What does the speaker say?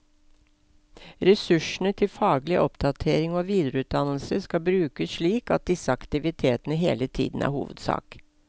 Ressursene til faglig oppdatering og videreutdannelse skal brukes slik at disse aktivitetene hele tiden er hovedsak.